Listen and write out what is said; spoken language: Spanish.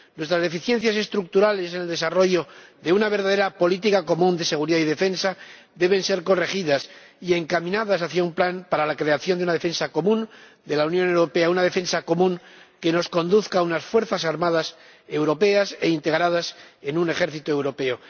Nuestras deficiencias estructurales en el desarrollo de una verdadera política común de seguridad y defensa deben ser corregidas y encaminadas hacia un plan para la creación de una defensa común de la Unión Europea, una defensa común que nos conduzca a unas fuerzas armadas europeas e integradas en un ejército europeo.